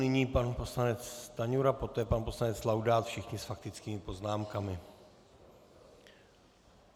Nyní pan poslanec Stanjura, poté pan poslanec Laudát, všichni s faktickými poznámkami.